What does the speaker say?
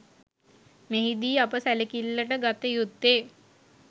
මෙහිදී අප සැලකිල්ලට ගත යුත්තේ